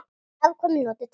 Afkvæmi notuð til hefnda.